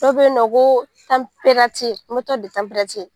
Dɔ bɛyinɔ ko